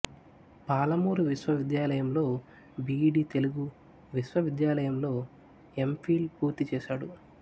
పాలమూరు విశ్వవిద్యాలయంలో B ED Telugu విశ్వవిద్యాలయం లో ఏం ఫీల్ పూర్తి చేశాడు